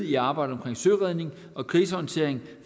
i arbejdet med søredning og krisehåndtering